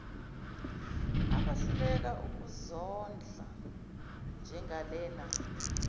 abahluleka ukuzondla njengalena